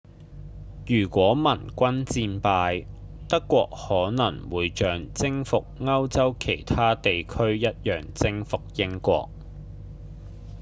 如果盟軍戰敗德國可能會像征服歐洲其他地區一樣征服英國